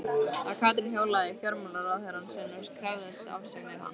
Að Katrín hjólaði í fjármálaráðherrann sinn og krefðist afsagnar hans?